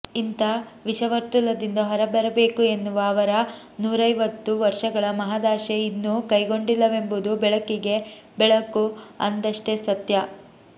ಇಂಥ ವಿಷವರ್ತುಲದಿಂದ ಹೊರಬರಬೇಕು ಎನ್ನುವ ಅವರ ನೂರೈವತ್ತು ವರ್ಷಗಳ ಮಹದಾಶೆ ಇನ್ನೂ ಕೈಕೊಂಡಿಲ್ಲವೆಂಬುದು ಬೆಳಕಿಗೆ ಬೆಳಕು ಅಂದಷ್ಟೇ ಸತ್ಯ